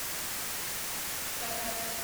Cuttack